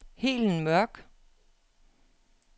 Helen Mørch